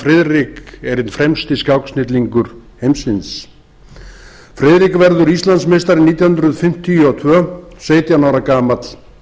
friðrik er einn fremsti skáksnillingur heimsins friðrik verður íslandsmeistari nítján hundruð fimmtíu og tvö sautján ára gamall